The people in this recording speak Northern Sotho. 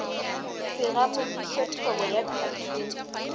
se gamodiše thobo ya khathone